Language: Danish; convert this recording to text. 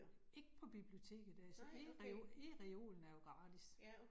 Ikke på biblioteket, af så eReolen er jo gratis